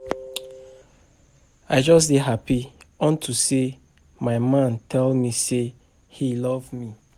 I just dey happy unto say my man tell me say he love me